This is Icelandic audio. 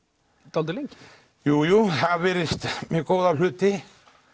dálítið lengi jú jú það virðist með góða hluti